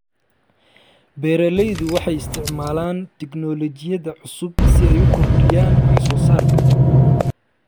Beeraleydu waxay isticmaalaan tignoolajiyada cusub si ay u kordhiyaan wax soo saarka.